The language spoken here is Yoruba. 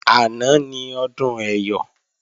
Àná ni Ọdún Ẹyọ̀